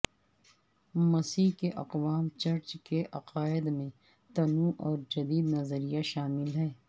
مسیح کے اقوام چرچ کے عقائد میں تنوع اور جدید نظریہ شامل ہیں